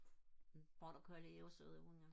border collie er jo søde hunde